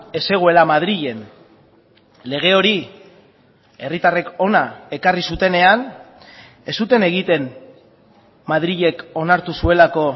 ez zegoela madrilen lege hori herritarrek hona ekarri zutenean ez zuten egiten madrilek onartu zuelako